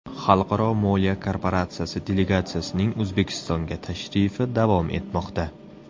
Xalqaro moliya korporatsiyasi delegatsiyasining O‘zbekistonga tashrifi davom etmoqda.